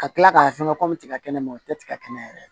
Ka kila k'a fɛngɛ komi tigɛ kɛnɛ ma o tɛ tigɛ yɛrɛ ye